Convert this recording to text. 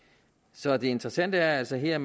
så det interessante er altså her